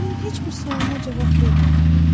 O mənim heç bir sualıma cavab vermədi.